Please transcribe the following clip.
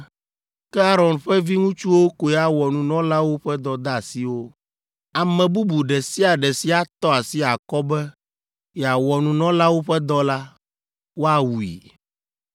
Ke Aron ƒe viŋutsuwo koe awɔ nunɔlawo ƒe dɔdeasiwo. Ame bubu ɖe sia ɖe si atɔ asi akɔ be yeawɔ nunɔlawo ƒe dɔ la, woawui.”